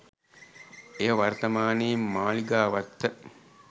එය වර්තමානයේ මාලිගාවත්ත